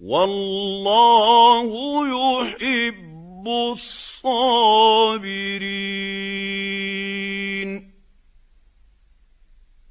وَاللَّهُ يُحِبُّ الصَّابِرِينَ